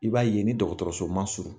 I b'a ye ni dɔkɔtɔrɔso ma surun